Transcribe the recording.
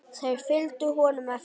Þeir fylgdu honum eftir.